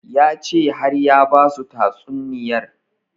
Ya ce har ya basu tatsuniyar